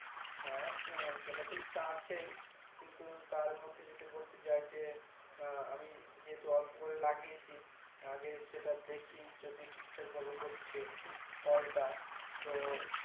হ্যাঁ সেটা তো ইচ্ছা আছেই কিন্তু তার মধ্যে যদি বলতে যাই যে আহ আমি যেহেতু অল্প করে লাগিয়েছি আগে সেটা দেখি যদি ঠিক ঠাক ভাবে হচ্ছে ফলটা তো